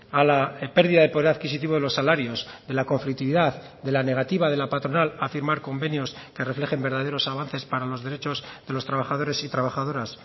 a la pérdida de poder adquisitivo de los salarios de la conflictividad de la negativa de la patronal a firmar convenios que reflejen verdaderos avances para los derechos de los trabajadores y trabajadoras